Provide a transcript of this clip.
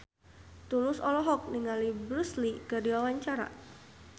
Tulus olohok ningali Bruce Lee keur diwawancara